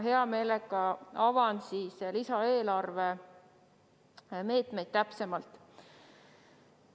Hea meelega avan lisaeelarve meetmed täpsemalt.